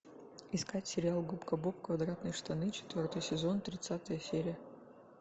искать сериал губка боб квадратные штаны четвертый сезон тридцатая серия